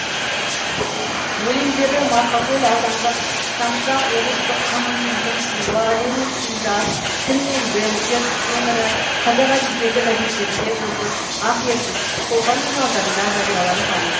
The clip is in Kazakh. өлеңдері марқакөл аудандық шамшырақ облыстық коммунизм туы лениншіл жас тіл мен діл ертіс өңірі қазақ әдебиеті газеттерінде жұлдыз ақ ертіс шолпан журналдарында жарияланған